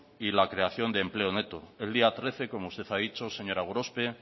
y la creación de empleo neto el día trece como usted ha dicho señora gorospe